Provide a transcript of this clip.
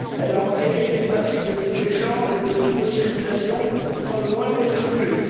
Elle a enterré les principes de libre échange et de libre circulation sans le moindre scrupule.